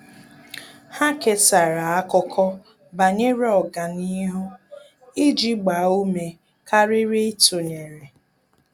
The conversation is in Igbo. Há kèsàrà ákụ́kọ́ banyere ọ́gànihu iji gbaa ume kàrị́rị́ ítụ́nyéré.